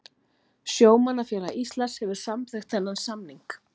Sjómannafélag Íslands hefur samþykkt þennan samning